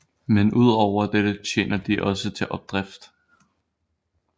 Men ud over dette tjener de også til opdrift